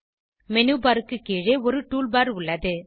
menu bar க்கு கீழே ஒரு டூல் பார் உள்ளது